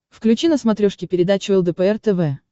включи на смотрешке передачу лдпр тв